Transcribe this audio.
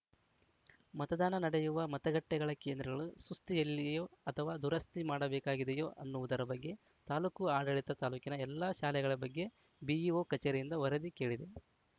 ಮತದಾನ ನಡೆಯುವ ಮತಗಟ್ಟೆಗಳ ಕೇಂದ್ರಗಳು ಸುಸ್ತಿಯಲ್ಲಿಯೋ ಅಥವಾ ದುರಸ್ತಿ ಮಾಡಬೇಕಾಗಿದಿಯೋ ಅನ್ನುವುದರ ಬಗ್ಗೆ ತಾಲೂಕು ಆಡಳಿತ ತಾಲೂಕಿನ ಎಲ್ಲ ಶಾಲೆಗಳ ಬಗ್ಗೆ ಬಿಇಒ ಕಚೇರಿಯಿಂದ ವರದಿ ಕೇಳಿದೆ